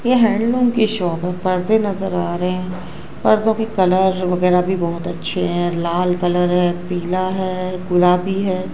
यह की शॉप है पर्दे नजर आ रहे हैं पर्दों के कलर वगैरह भी बहोत अच्छे हैं लाल कलर हैं पीला है गुलाबी है।